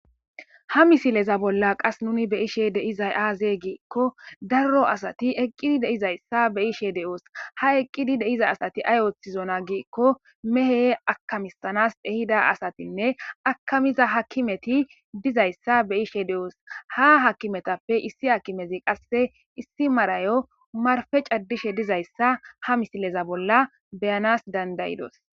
Ha misileza bolla qas nuni beyishe deizay aazey giikko darro asati eqqidi deizayssa be ishe de7oos ha eqqidi deiza asati ay ooththizona giikko mehe akamisanas ehida asatinne akamiza hakimeti dizayssa be ishe de7oos ha hakimetappe issi hakimezi qasse issi marayo marfe caddishe dizayssa ha misileza bolla beyanas dandayidos.